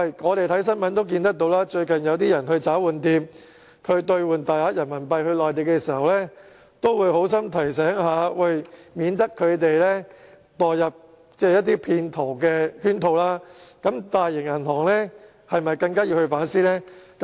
我們看新聞也看到，最近有人去找換店兌換大量人民幣到內地時，找換店職員都會好心提醒，以免他們墮入騙徒的圈套，那麼大型銀行是否更應反思呢？